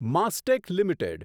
Mastek limited